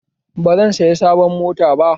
Ba zan saya sabon mota ba